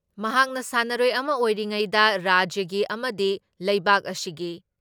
ꯃꯍꯥꯛꯅ ꯁꯥꯟꯅꯔꯣꯏ ꯑꯃ ꯑꯣꯏꯔꯤꯉꯩꯗ ꯔꯥꯖ꯭ꯌꯒꯤ ꯑꯃꯗꯤ ꯂꯩꯕꯥꯛ ꯑꯁꯤꯒꯤ